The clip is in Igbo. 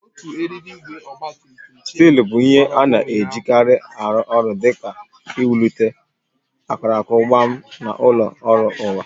Stili bụ ihe a na-ejikarị aru ulo di ka iwulite akụrụngwa na ụlọ ọrụ ụwa